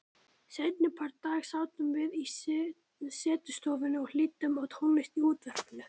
Seinnipart dags sátum við í setustofunni og hlýddum á tónlist í útvarpinu.